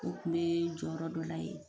O tun bɛ jɔyɔrɔ dɔ la yen